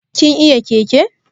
Kin iya keke?